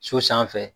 So sanfɛ